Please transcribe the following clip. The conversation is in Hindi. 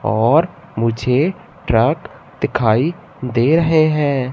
और मुझे ट्रक दिखाई दे रहे हैं।